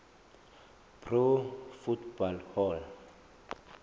pro football hall